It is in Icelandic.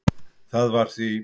Það var því